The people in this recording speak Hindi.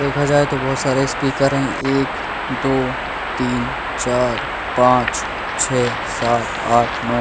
देखा जाए तो बहुत सारे स्पीकर हैं एक दो तीन चार पांच छह सात आठ नौ।